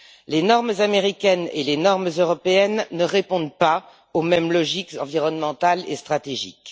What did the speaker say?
Les normes américaines et les normes européennes ne répondent pas aux mêmes logiques environnementales et stratégiques.